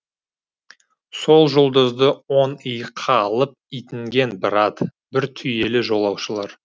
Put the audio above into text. сол жұлдызды оң иыққа алып итінген бір ат бір түйелі жолаушылар